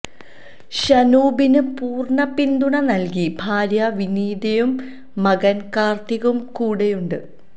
ഷനൂബിന് പൂര്ണ്ണ പിന്തുണ നല്കി ഭാര്യ വിനീതയും മകന് കാര്ത്തിക്കും കൂടെയുണ്ട്